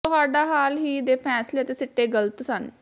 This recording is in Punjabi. ਤੁਹਾਡਾ ਹਾਲ ਹੀ ਦੇ ਫੈਸਲੇ ਅਤੇ ਸਿੱਟੇ ਗਲਤ ਸਨ